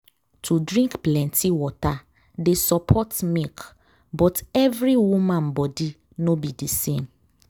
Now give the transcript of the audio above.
to drink plenty water dey support milk but every woman body no be the same